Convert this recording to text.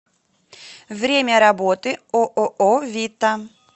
время работы ооо вита